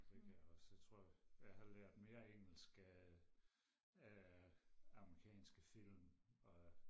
det kan jeg også jeg tror jeg har lært mere engelsk af af amerikanske film og